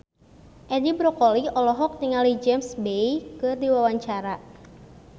Edi Brokoli olohok ningali James Bay keur diwawancara